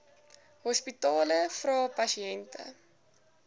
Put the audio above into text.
hospitale vra pasiënte